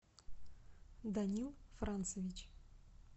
данил францевич